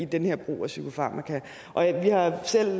den her brug af psykofarmaka vi har selv